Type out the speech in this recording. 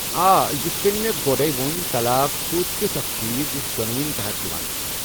آ، یتھ کٔنۍ مےٚ گۄڑے ووٚن، طلاق چُھ تِیُتھ اكھ چیز یُس دونونی تحت یوان چھُ۔